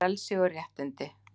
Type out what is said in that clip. FRELSI OG RÉTTINDI